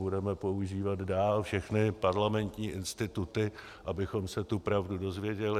Budeme používat dál všechny parlamentní instituty, abychom se tu pravdu dozvěděli.